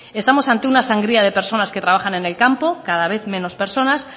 estamos ante una sangría de personas que trabajan en el campo cada vez menos personas